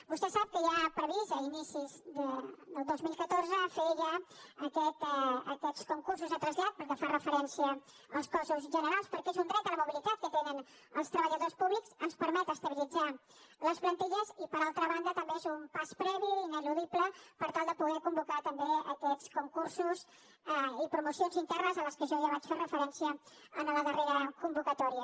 vostè sap que hi ha previst a inicis del dos mil catorze fer ja aquests concursos de trasllat pel que fa referència als cossos generals perquè és un dret a la mobilitat que tenen els treballadors públics ens permet estabilitzar les plantilles i per altra banda també és un pas previ i ineludible per tal de poder convocar també aquests concursos i promocions internes a les quals jo ja vaig fer referència en la darrera convocatòria